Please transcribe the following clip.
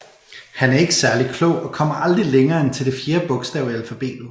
Han er ikke særlig klog og kommer aldrig længere end til det fjerde bogstav i alfabetet